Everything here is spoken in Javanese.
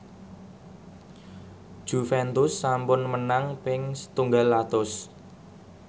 Juventus sampun menang ping setunggal atus